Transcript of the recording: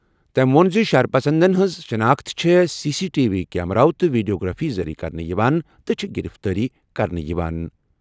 تٔمۍ ووٚن زِ شرپسندوں ہٕنٛز شناخت چھِ سی سی ٹی وی کیمرَو تہٕ ویڈیوگرافی ذٔریعہٕ کرنہٕ یِوان تہٕ چھےٚ گِرِفتٲری کرنہٕ یِوان۔